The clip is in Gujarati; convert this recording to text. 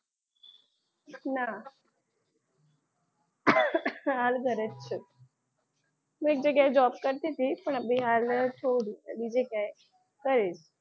ના. હાલ ઘરે જ છું હું એક જગ્યાએ job કરતી હતી પણ અભી હાલ જ છોડ્યું છે બીજે ક્યાંક કરીશ.